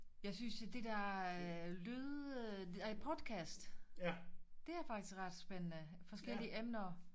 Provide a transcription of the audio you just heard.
Jeg synes jo det der lyd øh nej podcast det er faktisk ret spændende forskellige emner